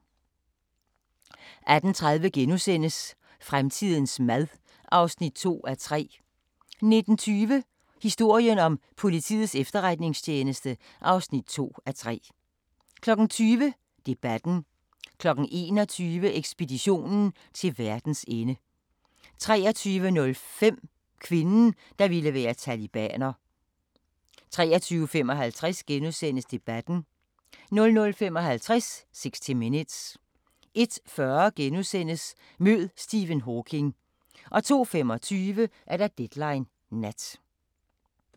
18:30: Fremtidens mad (2:3)* 19:20: Historien om Politiets Efterretningstjeneste (2:3) 20:00: Debatten 21:00: Ekspeditionen til verdens ende 23:05: Kvinden, der ville være talibaner 23:55: Debatten * 00:55: 60 Minutes 01:40: Mød Stephen Hawking * 02:25: Deadline Nat